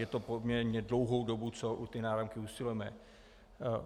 Je to poměrně dlouhá doba, co o náramky usilujeme.